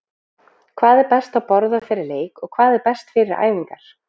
Hvað er best að borða fyrir leik og hvað er best fyrir æfingar?